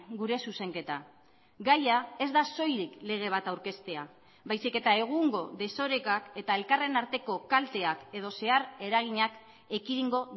gure zuzenketa gaia ez da soilik lege bat aurkeztea baizik eta egungo desorekak eta elkarren arteko kalteak edo zehar eraginak ekidingo